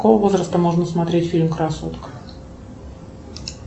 с какого возраста можно смотреть фильм красотка